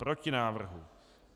Proti návrhu.